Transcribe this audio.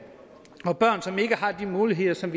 og børn som ikke har de muligheder som